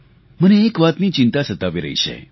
મને એક વાતની ચિંતા સતાવી રહી છે